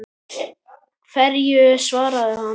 Hverju svaraði hann?